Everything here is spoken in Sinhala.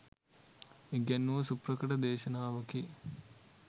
ඉගැන්වූ සුප්‍රකට දේශානවකි.